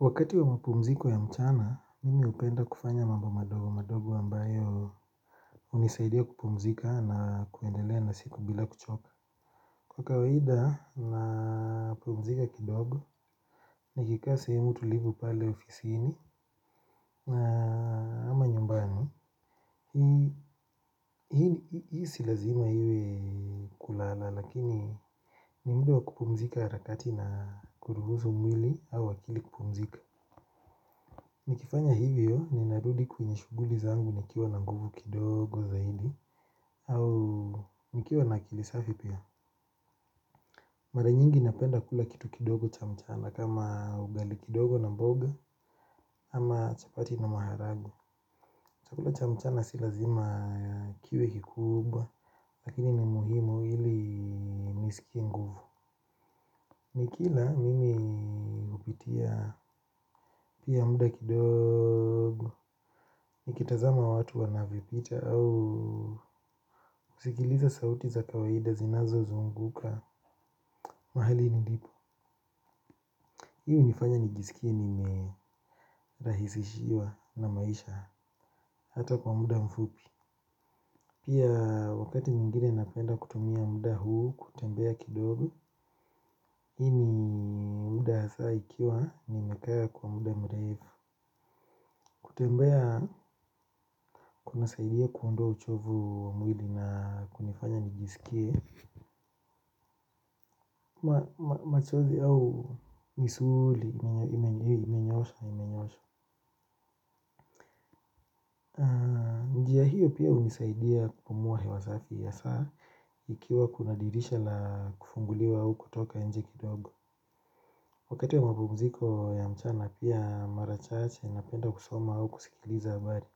Wakati wa mapumziko ya mchana, mimi upenda kufanya mamba madogo, madogo ambayo, unisaidia kupumzika na kuendelea na siku bila kuchoka. Kwa kawaida napumzika kidogo, nikikaa sehemu tulivu pale ofisiini, na ama nyumbani. Hii si lazima iwe kulala. Lakini, ni muda wa kupumzika harakati na kuruhuzu mwili au akili kupumzika. Nikifanya hivyo, ninarudi kwenye shughuli zangu nikiwa na nguvu kidogo zaidi, au nikiwa na akili safi pia. Mara nyingi napenda kula kitu kidogo cha mchana kama ugali kidogo na mboga, ama chapati na maharagu. Chakula cha mchana si lazima kiwe kikubwa. Lakini ni muhimu ili nisikie nguvu. Nikila, mimi hupitia pia muda kidogo. Nikitazama watu wanavyopita au, sigiliza sauti za kawaida zinazozunguka. Mahali nilipo. Hii unifanya nijisikie nimerahisishiwa na maisha. Hata kwa muda mfupi. Pia, wakati mwingine napenda kutumia muda huu kutembea kidogo. Hii ni muda hasa ikiwa, nimekaa kwa muda mrefu. Kutembea, kuna saidia kuondoa uchovu wa mwili na kunifanya nijisikie, machozi au misuli imenyoshaa imenyoshaa. Njia hiyo, pia, unisaidia kupumua hewa safi hasaa, ikiwa kuna dirisha la kufunguliwa au kutoka inje kidogo. Wakati wa mapumziko ya mchana pia, marachache, napenda kusoma au kusikiliza habari.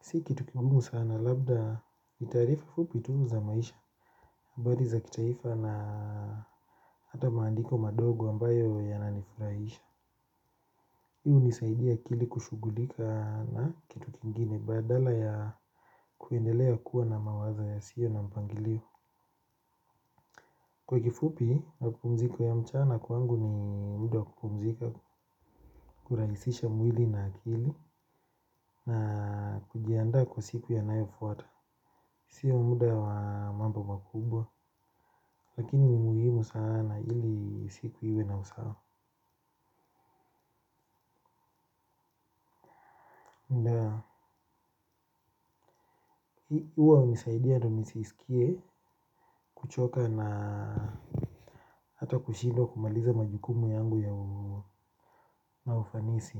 Si kitu kigumu sana labda ni taarifa fupi tu za maisha. Mbadi za kitaifa na hata maandiko madogo ambayo yananifuraisha. Hii unisaidia akili kushughulika na, kitu kingine badala ya kuendelea kua na mawazo yasio na mpangilio. Kwa kifupi, mapumziko ya mchana kwangu ni muda wa kupumzika, kuraisisha mwili na akili na kujiandaa kwa siku yanayofuata. Sio muda wa mambo makubwa, lakini, umuhimu sana ili siku iwe na usawa. Uwa hunisaidia ndo nisisikie, kuchoka na hata kushindwa kumaliza majukumu yangu ya ufanisi.